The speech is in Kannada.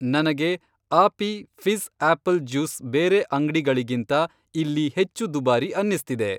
ನಂಗೆ ಆಪಿ ಫಿ಼ಜ಼್ ಆಪಲ್ ಜ್ಯೂಸ್ ಬೇರೆ ಅಂಗ್ಡಿಗಳಿಗಿಂತ ಇಲ್ಲಿ ಹೆಚ್ಚು ದುಬಾರಿ ಅನ್ನಿಸ್ತಿದೆ.